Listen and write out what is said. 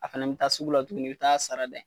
A fɛnɛ bi taa sugu la tuguni i bi taa sarada yen